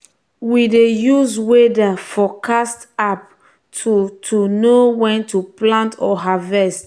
we dey use weather forecast app to to know when to plant or harvest.